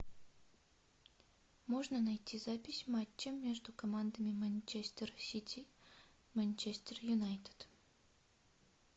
можно найти запись матча между командами манчестер сити манчестер юнайтед